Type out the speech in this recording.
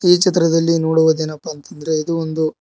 ಈ ಚಿತ್ರದಲ್ಲಿ ನೋಡುವುದೇನಪ್ಪಾ ಅಂತ ಅಂದ್ರೆ ಇದು ಒಂದು--